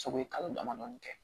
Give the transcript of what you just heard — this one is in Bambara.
So ye kalo damadɔ kɛ